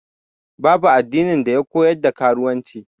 Babu addini da ya koyar da karuwanci.